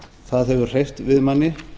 það hefur hreyft við manni